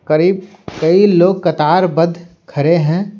करीबकई लोग कतार बद्ध खड़े हैं।